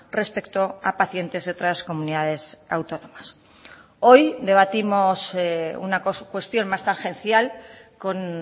respecto a pacientes de otras comunidades autónomas hoy debatimos una cuestión más tangencial con